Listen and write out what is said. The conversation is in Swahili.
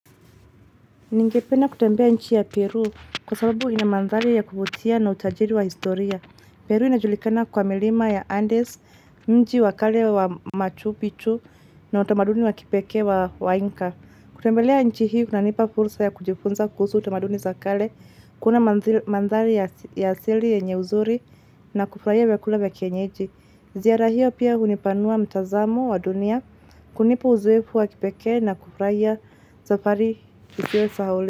Ningependa kutembea nchi ya Peru kwa sababu ina mandhari ya kuvutia na utajiri wa historia. Peru inajulikana kwa milima ya Andes, mji wa kale wa machu bichu na utamaduni wa kipekee wa wainka. Kutembelea nchi hii kunanipa fursa ya kujifunza kuhusu utamaduni za kale, kuona mandhari ya asili yenye uzuri na kufurahia vyakula vya kienyeji. Ziara hio pia hunipanua mtazamo wa dunia, kunipa uzoefu wa kipekee na kufurahia safari isiyo sahaulika.